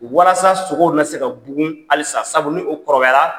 Walasa sogow na se ka bugun halisa sabu ni o kɔrɔbayara.